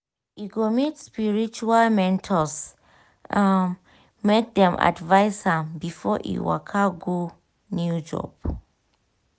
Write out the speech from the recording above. e go meet spiritual mentors um make dem advise am before e waka go new job.